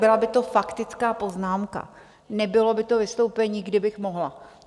Byla by to faktická poznámka, nebylo by to vystoupení, kdybych mohla.